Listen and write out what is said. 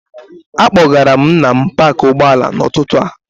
Akpọgara m Nna m paakị ụgbọala n'ụtụtụ a.